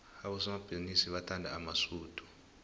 abosomabhizinisi bathanda amasudu